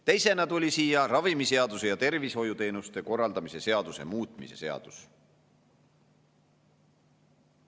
Teisena tuli siia ravimiseaduse ja tervishoiuteenuste korraldamise seaduse muutmise seaduse eelnõu.